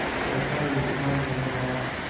सहसा ईदगाह नजर आया